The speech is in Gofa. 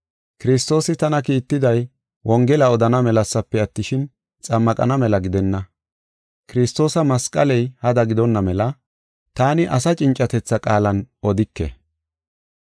Kiristoosi tana kiittiday wongela odana melasafe attishin, xammaqana mela gidenna. Kiristoosi masqaley hada gidonna mela taani asa cincatetha qaalan odike.